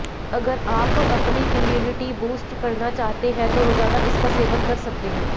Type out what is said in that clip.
अगर आप अपनी इम्यूनिटी बूस्ट करना चाहते हैं तो रोजाना इसका सेवन कर सकते हैं